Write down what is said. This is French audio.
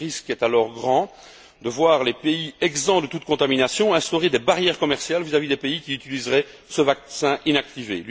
Le risque est alors grand de voir les pays exempts de toute contamination instaurer des barrières commerciales vis à vis des pays qui utiliseraient ce vaccin inactivé.